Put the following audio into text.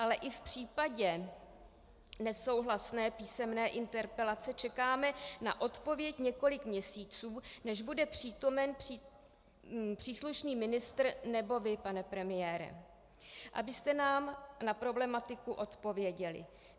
Ale i v případě nesouhlasné písemné interpelace čekáme na odpověď několik měsíců, než bude přítomen příslušný ministr nebo vy, pane premiére, abyste nám na problematiku odpověděli.